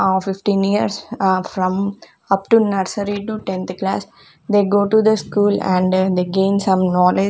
ah fifteen years ah from upto nursery to tenth class they go to the school and they gain some knowledge.